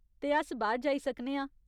ते अस बाह्‌र जाई सकने आं।